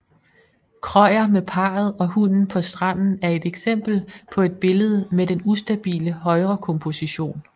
Krøyer med parret og hunden på stranden er et eksempel på et billede med den ustabile højrekomposition